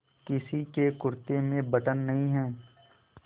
किसी के कुरते में बटन नहीं है